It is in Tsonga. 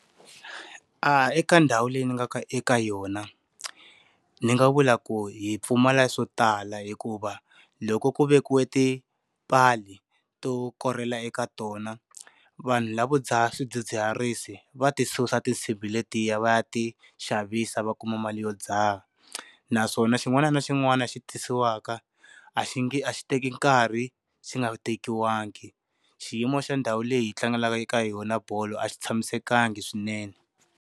A eka ndhawu leyi ni nga eka yona ni nga vula ku hi pfumala swo tala hikuva loko ku vekiwa tipala to korela eka tona, vanhu lavo dzaha swidzidziharisi va ti susa tinsimbi letiya va ya ti xavisa va kuma mali yo dzaha. Naswona xin'wana na xin'wana xi tisiwaka, a xi nge a xi teki nkarhi xi nga tekiwangi. Xiyimo xa ndhawu leyi hi tlangelaka eka hi yona bolo a xi tshamisekanga swinene.